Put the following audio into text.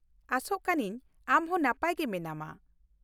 ᱟᱥᱚᱜ ᱠᱟᱹᱱᱟᱹᱧ ᱟᱢ ᱦᱚᱸ ᱱᱟᱯᱟᱭ ᱜᱮ ᱢᱮᱱᱟᱢᱟ ᱾